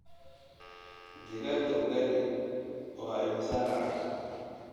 Digaagga ugali waa imisa lacag?